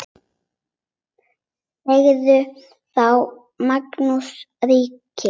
Sagði þá Magnús ríki: